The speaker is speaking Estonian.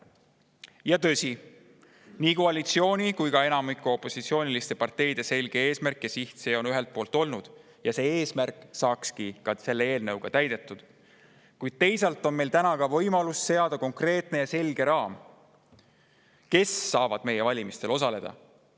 Tõsi, ühelt poolt on see olnud nii koalitsiooni kui ka enamiku opositsiooniparteide selge eesmärk ja siht ja selle eelnõuga saakski see eesmärk täidetud, kuid teisalt on meil ka võimalus seada konkreetne ja selge raam, kes saavad meie valimistel osaleda.